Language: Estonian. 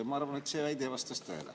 Ma arvan, et see väide vastab tõele.